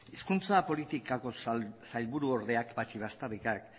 hizkuntza politikako sailburuordeak patxi baztarrikak